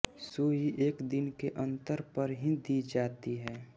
सुई एक दिन के अंतर पर ही दी जाती है